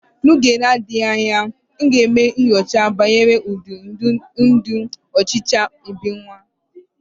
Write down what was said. N'oge na-adịghị anya, m ga-eme nyocha banyere ụdị ndụ ọchịcha n'ebiwa.